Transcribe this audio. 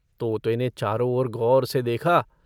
तोते ने चारों ओर गौर से देखा।